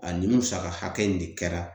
A ni musaka hakɛ in de kɛra